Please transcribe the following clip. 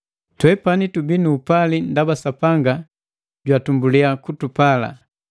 Twepani tubii nu upali ndaba Sapanga jwatumbulia kutupala.